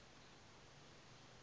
gare du nord